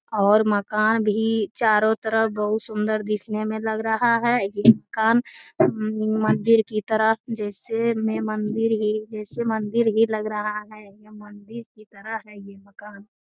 और मकान भी चारों तरफ बहुत सुंदर दिखने में लग रहा है मंदिर की तरफ जिसे जैसे मंदिर ही लग रहा है या मंदिर की तरह है यह मकान।